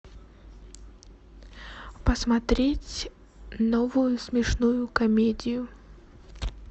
посмотреть новую смешную комедию